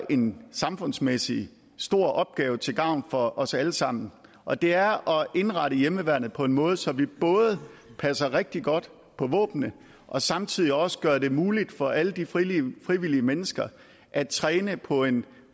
en samfundsmæssig stor opgave til gavn for os alle sammen og det er at indrette hjemmeværnet på en måde så vi både passer rigtig godt på våbnene og samtidig også gør det muligt for alle de frivillige frivillige mennesker at træne på en